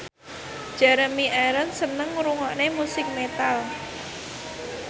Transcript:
Jeremy Irons seneng ngrungokne musik metal